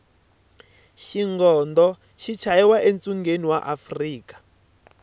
xigondo xi chayiwa e tshungeni wa afrika